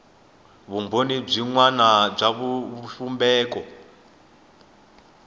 vumbhoni byin wana bya xivumbeko